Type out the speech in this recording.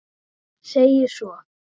segir svo